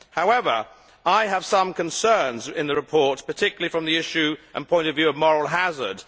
However, I have some concerns about the report, particularly from the issue and point of view of moral hazard.